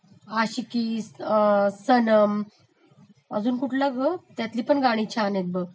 आशिकी, सनम, अजून कुठला ग त्यातली पण गाणी छान आहेत बघ